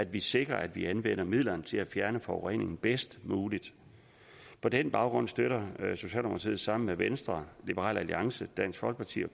vi sikrer at vi anvender midlerne til at fjerne forureningen bedst muligt på den baggrund støtter socialdemokratiet sammen med venstre liberal alliance dansk folkeparti og